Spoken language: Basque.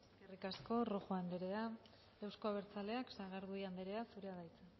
eskerrik asko rojo anderea euzko abertzaleak sagardui anderea zurea da hitza